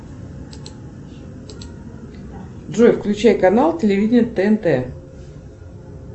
джой включай канал телевидение тнт